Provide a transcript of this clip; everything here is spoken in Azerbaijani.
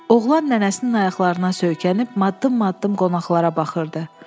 Oğlan nənəsinin ayaqlarına söykənib maddım-maddım qonaqlara baxırdı.